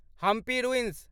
Hampi ruins